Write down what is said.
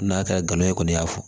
N'a kɛra e kɔni y'a fɔ